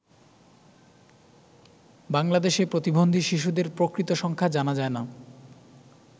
বাংলাদেশে প্রতিবন্ধী শিশুদের প্রকৃত সংখ্যা জানা যায় না।